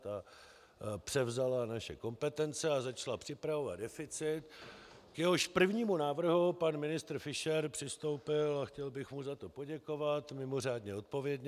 Ta převzala naše kompetence a začala připravovat deficit, k jehož prvnímu návrhu pan ministr Fischer přistoupil - a chtěl bych mu za to poděkovat - mimořádně odpovědně.